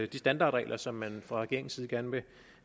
de standardregler som man fra regeringens side gerne